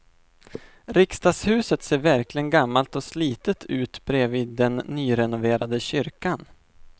Riksdagshuset ser verkligen gammalt och slitet ut bredvid den nyrenoverade kyrkan.